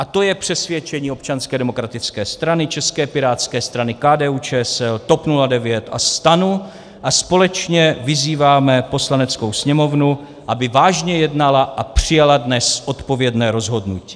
A to je přesvědčení Občanské demokratické strany, České pirátské strany, KDU-ČSL, TOP 09 a STAN a společně vyzýváme Poslaneckou sněmovnu, aby vážně jednala a přijala dnes odpovědné rozhodnutí.